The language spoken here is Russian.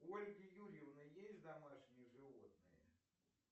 у ольги юрьевны есть домашние животные